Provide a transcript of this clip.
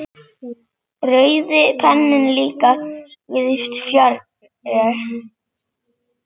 Rauði penninn líka víðs fjarri.